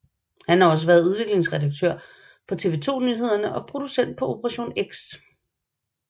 Han har også været udviklingsredaktør på TV 2 Nyhederne og producent på Operation X